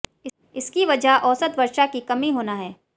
इसकी वजह औसत वर्षा की कमी होना है